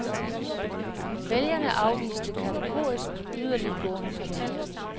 Vælgerne afviste kategorisk yderliggående partier.